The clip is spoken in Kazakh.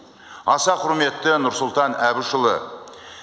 аса құрметті нұрсұлтан әбішұлы